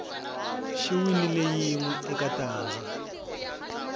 xi winile yinwe eka tanda